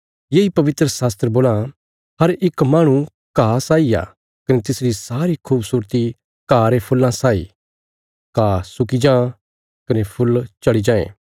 येई पवित्रशास्त्र बोलां हर इक माहणु घा साई आ कने तिसरी सारी खूबसूरती घा रे फूल्लां साई घा सुक्की जां कने फुल्ल झड़ी जांए